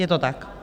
Je to tak?